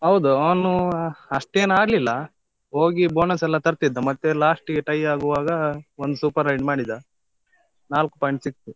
ಹೌದು, ಅವನು ಅಷ್ಟೇನ್ ಆಡ್ಲಿಲ್ಲ ಹೋಗಿ bonus ಲ್ಲಾ ತರ್ತಿದ್ದ, ಮತ್ತೆ last ಗೆ tie ಆಗುವಾಗ ಒಂದು super ride ಮಾಡಿದ ನಾಲ್ಕು point ಸಿಕ್ತು.